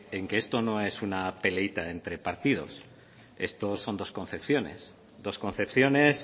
en que esto no es una peleíta entre partidos estos son dos concepciones dos concepciones